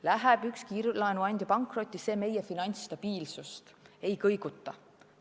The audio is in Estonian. Läheb üks kiirlaenuandja pankrotti – see meie finantsstabiilsust ei kõiguta.